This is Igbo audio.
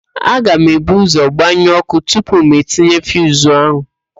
Aga m ebu ụ́zọ̀ gbanyụọ ọ́kụ́ tupu m tinye fiuzu ahụ.